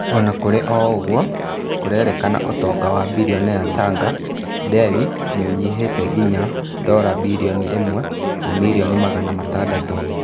Ona kũrĩ o ũguo, kũrerĩkana ũtonga wa birionea wa Tanga, Dewi nĩ ũnyihĩte nginya ndora birioni ĩmwe na mirioni magana matandatũ.